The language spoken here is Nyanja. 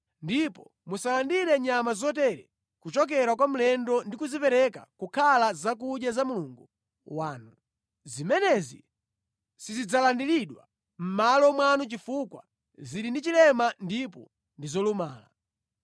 Ndipo musalandire nyama zotere kuchokera kwa mlendo ndi kuzipereka kukhala zakudya za Mulungu wanu. Zimenezi sizidzalandiridwa mʼmalo mwanu chifukwa zili ndi chilema ndipo ndi zolumala.’ ”